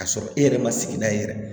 K'a sɔrɔ e yɛrɛ ma sigida i yɛrɛ